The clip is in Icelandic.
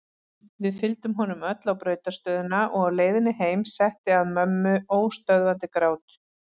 Við fylgdum honum öll á brautarstöðina og á leiðinni heim setti að mömmu óstöðvandi grát.